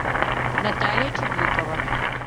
наталья чаблукова